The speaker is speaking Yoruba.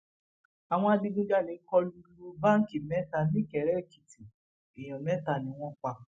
àwọn adigunjalè kọ lu lu báńkì mẹta nìkèrèèkìtì èèyàn mẹta ni wọn pa